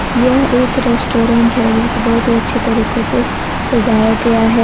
यह एक रेस्टोरेंट है जिसको बहुत अच्छे तरीको से सजाया गया है।